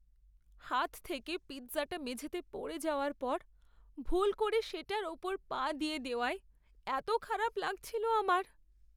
হাত থেকে পিৎজাটা মেঝেতে পড়ে যাওয়ার পর ভুল করে সেটার ওপর পা দিয়ে দেওয়ায় এত খারাপ লাগছিল আমার।